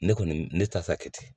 Ne kɔni ne ta sa kɛ ten